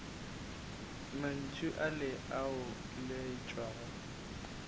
mantšu ale o a laetšwego